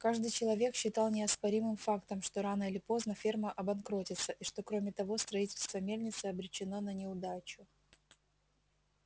каждый человек считал неоспоримым фактом что рано или поздно ферма обанкротится и что кроме того строительство мельницы обречено на неудачу